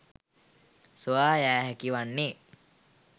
සොයා යා හැකි වන්නේ